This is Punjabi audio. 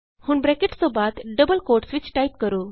ਹੁਣ ਬਰੈਕਟਸ ਤੋਂ ਬਾਅਦ ਡਬਲ ਕੋਟਸ ਵਿਚ ਟਾਈਪ ਕਰੋ